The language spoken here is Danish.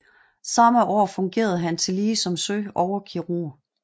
Samme år fungerede han tillige som søoverkirurg